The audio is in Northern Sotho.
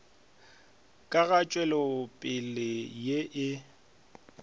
ka ga tšwelopele ye e